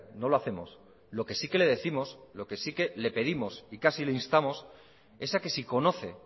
no lo hacemos lo que sí que le décimos lo que sí que le pedimos y casi le instamos es a que si conoce